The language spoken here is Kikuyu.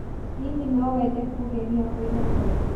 Hihi no wende kũgeria mũigana ũngĩ?